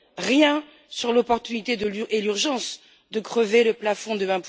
Rien sur l'opportunité et l'urgence de crever le plafond de